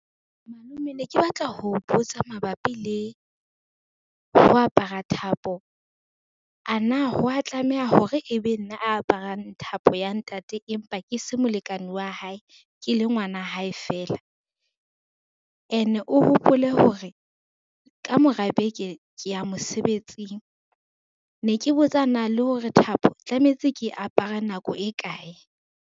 Malome ne ke batla ho botsa mabapi le ho apara thapo, ana ho wa tlameha hore ebe nna aparang thapo ya ntate empa ke se molekane wa hae, ke le ngwana hae fela. Ene o hopole hore, ka mora beke ke ya mosebetsing, ne ke botsa na le hore thapo tlametse ke apare nako e kae.